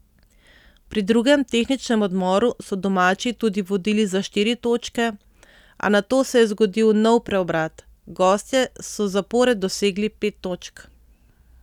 Pri drugem tehničnem odmoru so domači tudi vodili za štiri točke, a nato se je zgodil nov preobrat, gostje so zapored dosegli pet točk.